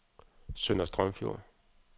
Sønder Strømfjord